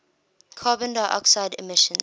carbon dioxide emissions